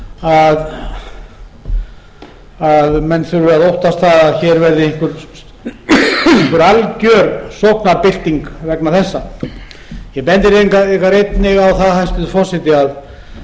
menn þurfi að óttast það að hér verði einhver alger sóknarbylting vegna þessa ég bendi einnig á það hæstvirtur forseti að